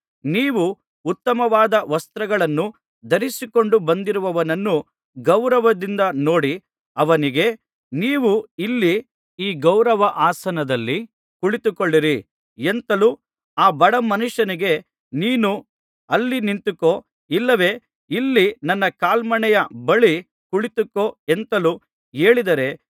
ನೀವು ಉತ್ತಮವಾದ ವಸ್ತ್ರಗಳನ್ನು ಧರಿಸಿಕೊಂಡು ಬಂದಿರುವವನನ್ನು ಗೌರವದಿಂದ ನೋಡಿ ಅವನಿಗೆ ನೀವು ಇಲ್ಲಿ ಈ ಗೌರವ ಆಸನದಲ್ಲಿ ಕುಳಿತುಕೊಳ್ಳಿರಿ ಎಂತಲೂ ಆ ಬಡ ಮನುಷ್ಯನಿಗೆ ನೀನು ಅಲ್ಲಿ ನಿಂತುಕೋ ಇಲ್ಲವೇ ಇಲ್ಲಿ ನನ್ನ ಕಾಲ್ಮಣೆಯ ಬಳಿ ಕುಳಿತುಕೋ ಎಂತಲೂ ಹೇಳಿದರೆ